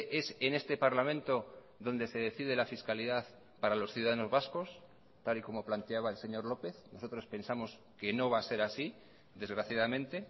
es en este parlamento donde se decide la fiscalidad para los ciudadanos vascos tal y como planteaba el señor lópez nosotros pensamos que no va a ser así desgraciadamente